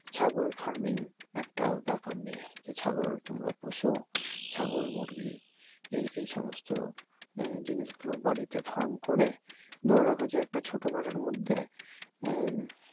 ছাগল farming একটা ব্যাপার নিয়ে যে ছাগল তোমরা পোষো ছাগল মুরগি এইসমস্ত জিনিসগুলো বাড়িতে ফার্ম করে ধরো রাখো যে একটা ছোট ঘরের মধ্যে আহ